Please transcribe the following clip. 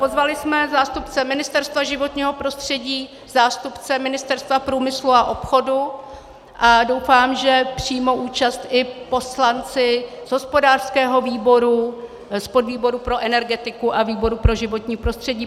Pozvali jsme zástupce Ministerstva životního prostředí, zástupce Ministerstva průmyslu a obchodu a doufám, že přijmou účast i poslanci z hospodářského výboru, z podvýboru pro energetiku a výboru pro životní prostředí.